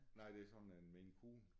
Nej det er sådan en Maine Coon